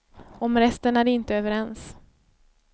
Om resten är de inte överens.